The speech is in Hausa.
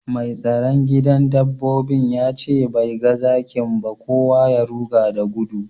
Mai tsaron gidan dabbobin ya ce bai gan zakin ba, kowa ya ruga da gudu.